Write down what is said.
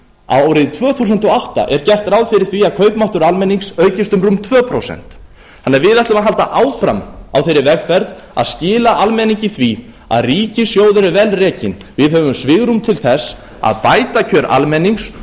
árið tvö þúsund og átta er gert ráð fyrir því að kaupmáttur almennings aukist um rúm tvö prósent við ætlum því að halda áfram á þeirri vegferð að skila almenningi því að ríkissjóður er vel rekinn við höfum svigrúm til þess að bæta kjör almennings